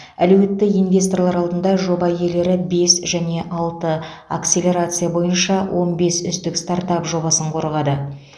әлеуетті инвесторлар алдында жоба иелері бес және алты акселерация бойынша он бес үздік стартап жобасын қорғады